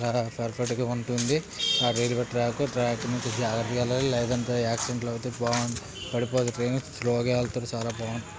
చాల పర్ఫెక్ట్ ఉంటుంది అటుఇటు ట్రాక్ ట్రాక్ మీద జాగ్రత్తగా వెళ్ళాలి లేదంటే యాక్సిడెంట్లు అవుతాయ్ బావ్ పడిపోదు ట్రైను స్లోగా ఎల్తే చాల బాగు--